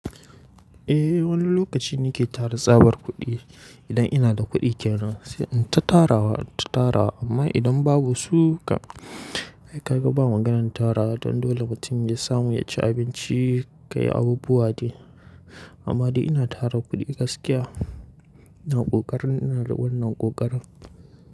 Eh wani lokaci nake tara tsabar kuɗi idan ina da kuɗi kyanan sai in ta tarawa ta tarawa amma idan babu suka ai ka gaba maganar tarawa don dole mutum ya samu ya ci abinci ya yi abubuwa dai amma dai ina tara kuɗi gaskiya ina ƙoƙarin ina riƙon na ƙoƙarin.